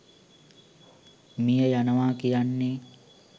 මිය යනවා කියන්නේ